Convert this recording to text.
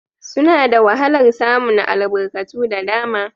Suna da wahalar samun albarkatu da dama